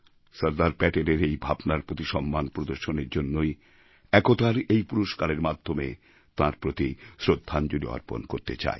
সরদার প্যাটেলের এই ভাবনার প্রতি সম্মান প্রদর্শনের জন্যই একতার এই পুরস্কারের মাধ্যমে তাঁর প্রতি শ্রদ্ধাঞ্জলি অর্পণ করতে চাই